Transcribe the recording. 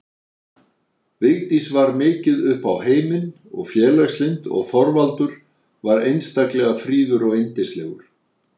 Vigdís var mikið upp á heiminn og félagslynd og Þorvaldur var einstaklega fríður og yndislegur.